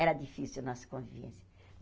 Era difícil a nossa convivência.